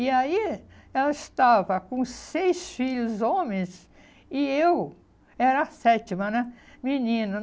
E aí, ela estava com seis filhos homens e eu era a sétima, né, menina.